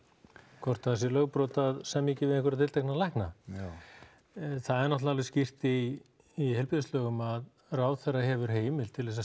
hvort það sé lögbrot að semja ekki við einhverja tiltekna lækna já það er náttúrulega skýrt í í heilbrigðislögum að ráðherra hefur heimild til